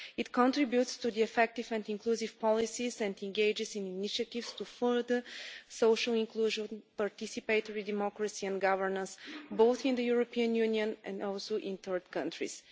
It contributes to the effective and inclusive policies and engages in initiatives to further social inclusion, participatory democracy and governance, both in the European Union and also in third countries.